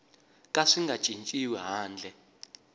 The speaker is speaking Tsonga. ka swi nga cinciwi handle